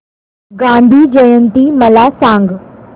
गांधी जयंती मला सांग